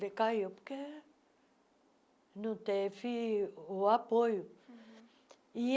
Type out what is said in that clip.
Decaiu porque não teve o apoio.